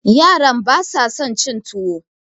yaran ba sa son cin tuwo